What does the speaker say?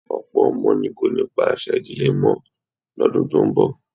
Ọ̀pọ̀ ọmọ ni kò ní pa àṣà ìdílé mọ́ lọ́dún tó ń bọ̀